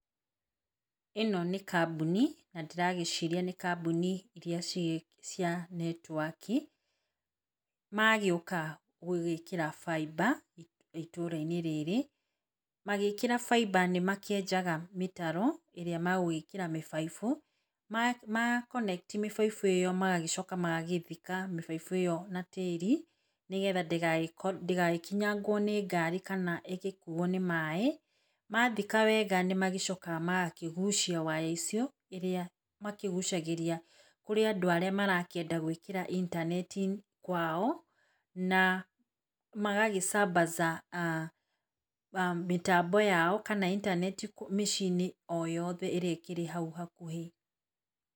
Ĩno nĩ kambuni na ndĩragĩciria iria cia netwaki magĩũka gwĩkĩra fibre itũra -inĩ rĩrĩ. Magĩkĩra baimba nĩmakĩenjaga mĩtaro ĩrĩa magũgĩkĩra mĩbaibũ makoneti mĩbaibũ ĩyo magagĩcoka magagĩthika mĩbaibũ ĩyo na tĩri nĩgetha ndĩgagĩkinyangwo nĩ ngari kana ĩgĩkuo nĩ maĩ. Mathika wega nĩmagĩcokaga magakĩgucia waya icio, iria makĩgucagĩria kũrĩa andũ arĩa marakĩenda gwĩkĩra intaneti kwao na magagĩ sambaza mĩtambo yao kana intaneti mĩciĩ o yothe ĩrĩa ĩkĩrĩ hau hakuhĩ.